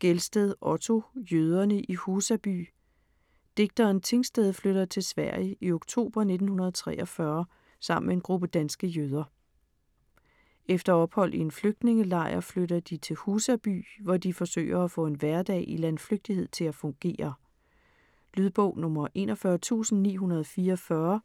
Gelsted, Otto: Jøderne i Husaby Digteren Tingsted flygter til Sverige i oktober 1943 sammen med en gruppe danske jøder. Efter ophold i en flygtningelejr flytter de til Husaby, hvor de forsøger at få en hverdag i landflygtighed til at fungere. Lydbog 41944